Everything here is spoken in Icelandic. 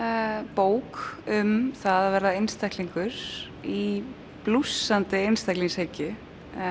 bók um það að verða einstaklingur í blússandi einstaklingshyggju